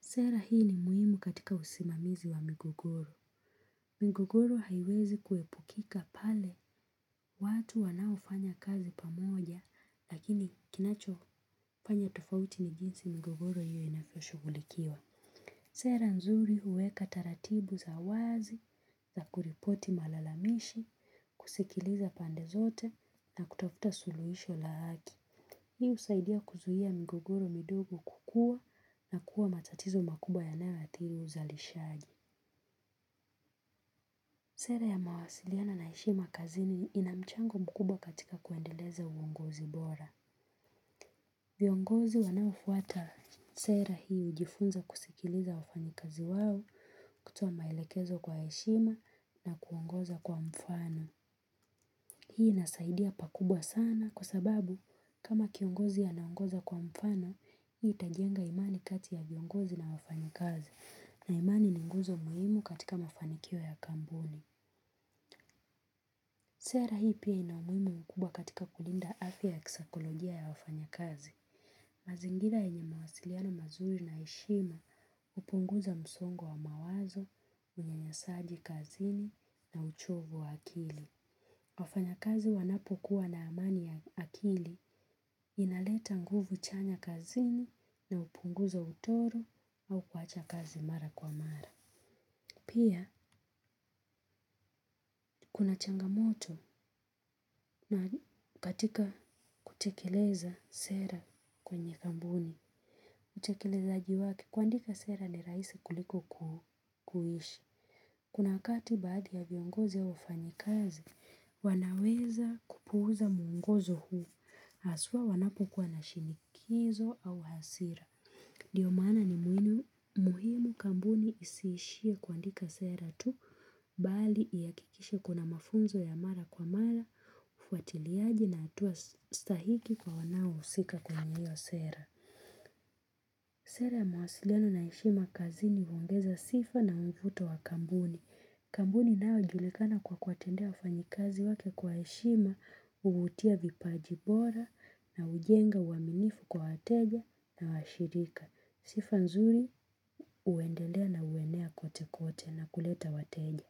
Sera hii ni muhimu katika usimamizi wa migogoro. Migogoro haiwezi kuepukika pale watu wanaofanya kazi pamoja lakini kinacho fanya tofauti ni jinsi migogoro hiyo inavyo shugulikiwa. Sera nzuri huweka taratibu za wazi za kuripoti malalamishi, kusikiliza pande zote na kutafuta suluhisho la haki. Hii husaidia kuzuia migogoro midogo kukua na kuwa matatizo makubwa yanayo athiri uzalishaji. Sera ya mawasiliana na heshima kazi ina mchango mkubwa katika kuendeleza uongozi bora. Viongozi wanaofuata sera hii hujifunza kusikiliza wafanyikazi wao kutoa maelekezo kwa heshima na kuongoza kwa mfano. Hii inasaidia pakubwa sana kwa sababu kama kiongozi anaongoza kwa mfano, hii itajenga imani kati ya viongozi na wafanyikazi na imani ninguzo muhimu katika mafanikio ya kampuni. Sera hii pia inaumuhimu mkubwa katika kulinda afya kisakolojia ya wafanyakazi. Mazingira yenye mawasiliano mazuri na ya heshima hupunguza msongo wa mawazo, unyanyasaji kazini na uchovu wa akili. Wafanyakazi wanapo kuwa na amani ya akili inaleta nguvu chanya kazini na hupunguza utoro au kuacha kazi mara kwa mara. Pia, kuna changamoto na katika kutekeleza sera kwenye kampuni. Kutekelezaji wake, kuandika sera ni rahisi kuliko kuishi. Kuna wakati baadhi ya viongozi ya wafanyikazi, wanaweza kupuuza muongozo huu. Haswa wanapokuwa na shinikizo au hasira. Ndio maana ni muhimu kampuni isiishie kuandika sera tu, bali ihakikishe kuna mafunzo ya mara kwa mara, ufuatiliaji na hatua sahihi kwa wanao husika kwenye hio sera. Sera ya mawasiliano na heshima kazini huongeza sifa na umvuto wa kampuni. Kampuni inayo julikana kwa kuwatendea wafanyikazi wake kwa heshima huvutia vipaji bora na ujenga uaminifu kwa wateja na washirika. Sifa nzuri, huendelea na huenea kote kote na kuleta wateja.